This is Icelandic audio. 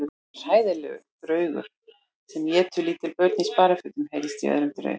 Ég er hræðilegur draugur sem étur lítil börn í sparifötum heyrðist í öðrum draug.